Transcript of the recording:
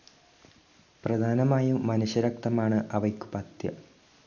പ്രധാനമായും മനുഷ്യരക്തമാണ്‌ അവയ്ക്കു പഥ്യം.